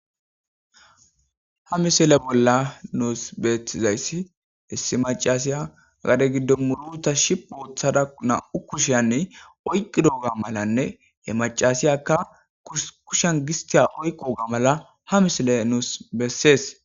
ha misile bolla nuus beetizayssi issi macasiya agade giddo muruta shi uothada na7u kusheyanne oyqqi doga malanne ye macasiyakka kushan gistiya oyqoga mala ha misile nuus bessees